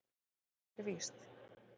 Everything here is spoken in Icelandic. Það er víst.